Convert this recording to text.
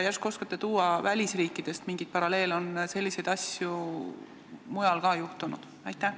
Järsku oskate tuua välisriikidest mingeid paralleele, kas selliseid asju on ka mujal juhtunud?